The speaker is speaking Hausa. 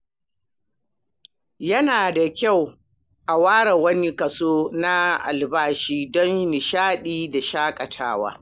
Yana da kyau a ware wani kaso na albashi don nishaɗi da shaƙatawa.